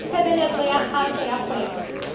tshebeletso ya kgaso ya kgwebo